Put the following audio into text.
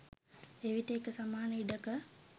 එවිට එක සමාන ඉඩක